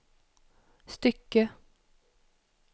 stycke